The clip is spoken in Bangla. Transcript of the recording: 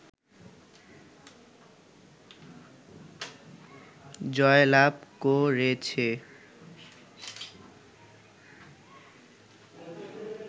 জয়লাভ করেছে